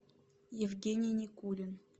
евгений никулин